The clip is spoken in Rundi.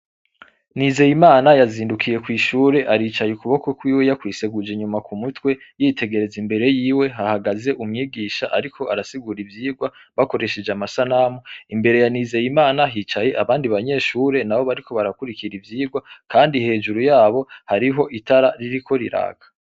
Nizeye imana yazindukiye kw'ishure aricaye ukuboko kwiwe yakwiseguja inyuma ku mutwe yitegereza imbere yiwe hahagaze umwigisha, ariko arasigura ivyirwa bakoresheje amasa namu imbere yanizeye imana hicaye abandi banyeshure na bo bariko barakurikira ivyirwa, kandi hejuru yabo hariho itara ririko riraka.